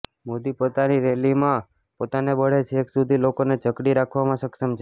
મોદી પોતાની રેલીમાં પોતાના બળે છેક સુધી લોકોને જકડી રાખવામાં સક્ષમ છે